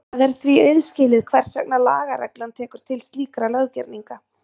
Það er því auðskilið hvers vegna lagareglan tekur til slíkra löggerninga.